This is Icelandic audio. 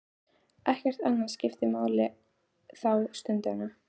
Ekkert annað skiptir máli þá stundina.